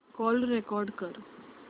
call record कर